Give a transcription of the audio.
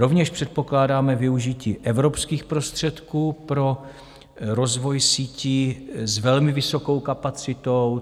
Rovněž předpokládáme využití evropských prostředků pro rozvoj sítí s velmi vysokou kapacitou.